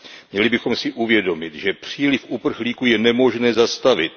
Měli bychom si uvědomit, že příliv uprchlíků je nemožné zastavit.